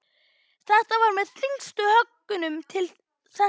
Þetta var með þyngstu höggunum til þessa.